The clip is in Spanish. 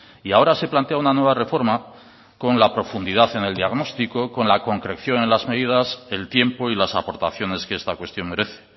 y ahora se plantea una nueva reforma con la profundidad en el diagnóstico con la concreción en las medidas el tiempo y las aportaciones que esta cuestión merece